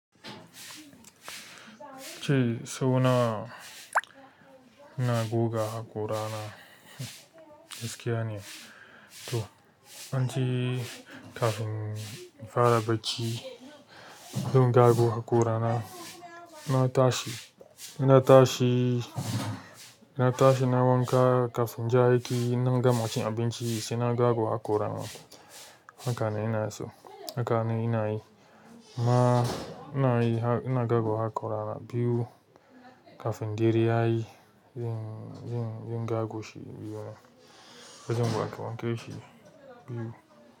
Ce, sau na, ina goga haƙora na, gaskiya ne. To, anji kafin in fara bacci, zan gago haƙora na. Ina tashi, ina tashi, ina tashi nai wanka. Kafin je aiki, in nan gama cin abinci sai na gago haƙora na. Haka ne ina so, haka ne ina yi. Amma ina yi ha-- ina gago haƙora na biyu kafin dare ya yi. Yin, yin, yin gago shi yin jan wanke wanke shu biyu.